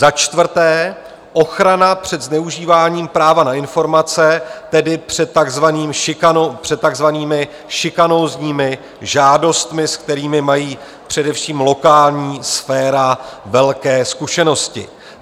Za čtvrté ochrana před zneužíváním práva na informace, tedy před takzvanými šikanózními žádostmi, se kterými má především lokální sféra velké zkušenosti.